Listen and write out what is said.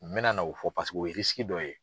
Mena na o fɔ paseke o ye dɔ ye.